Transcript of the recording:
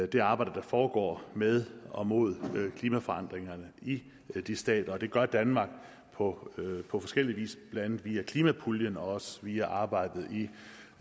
det arbejde der foregår med og mod klimaforandringerne i de stater det gør danmark på forskellig vis blandt andet via klimapuljen og også via arbejdet i